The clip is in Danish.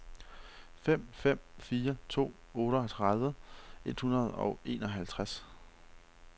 fem fem fire to otteogtredive et hundrede og enoghalvtreds